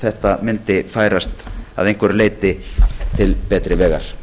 þetta mundi færast að einhverju leyti til betri vegar